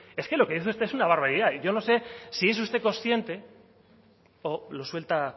es que lo que dice usted es una barbaridad y yo no sé si es usted consciente o lo suelta